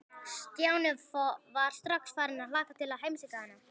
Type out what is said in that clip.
Stjáni var strax farinn að hlakka til að heimsækja hana.